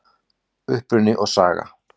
Uppruni og saga